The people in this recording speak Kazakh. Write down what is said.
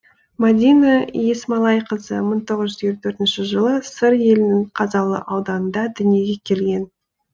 мадина есмалайқызы мың тоғыз жүз елу төртінші жылы сыр елінің қазалы ауданында дүниеге келген